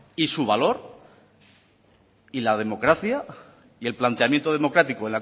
y su valor y la democracia y el planteamiento democrático